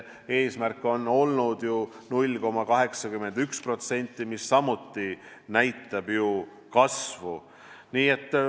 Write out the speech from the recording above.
Eesmärk on olnud ju 0,81%, mis samuti näitab kasvu.